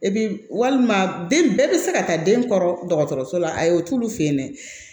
E bi walima den bɛɛ bi se ka taa den kɔrɔ dɔgɔtɔrɔso la ayi o t'olu fɛ yen dɛ